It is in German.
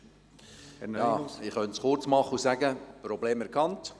Ich könnte mich kurz fassen und sagen: Problem erkannt.